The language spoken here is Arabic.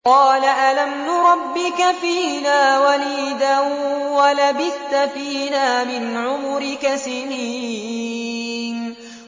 قَالَ أَلَمْ نُرَبِّكَ فِينَا وَلِيدًا وَلَبِثْتَ فِينَا مِنْ عُمُرِكَ سِنِينَ